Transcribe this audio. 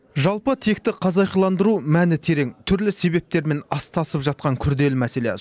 жалпы текті қазақиландыру мәні терең түрлі себептермен астасып жатқан күрделі мәселе